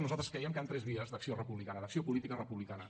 nosaltres creiem que hi ha tres vies d’acció republicana d’acció política republicana